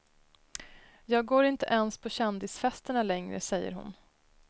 Jag går inte ens på kändisfesterna längre, säger hon.